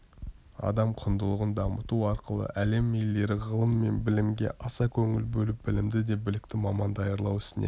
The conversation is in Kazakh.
адам құндылығын дамыту арқылы әлем елдері ғылым мен білімге аса көңіл бөліп білімді де білікті маман даярлау ісіне